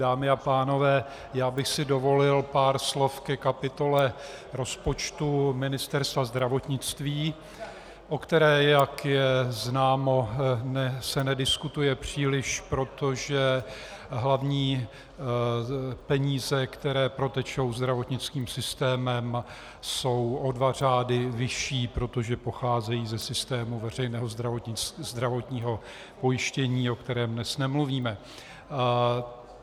Dámy a pánové, já bych si dovolil pár slov ke kapitole rozpočtu Ministerstva zdravotnictví, o které, jak je známo, se nediskutuje příliš, protože hlavní peníze, které protečou zdravotnickým systémem, jsou o dva řády vyšší, protože pocházejí ze systému veřejného zdravotního pojištění, o kterém dnes nemluvíme.